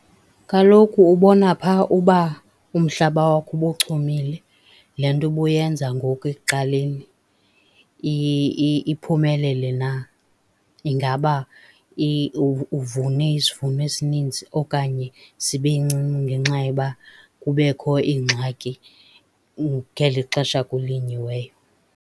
Kaloku ubona phaa uba umhlaba wakho ubuchumile le nto ubuyenza ngoku ekuqaleni iphumelele na. Ingaba uvune isivuno esininzi okanye sibe ncinci ngenxa yoba kubekho iingxaki ngeli xesha kulinyiweyo.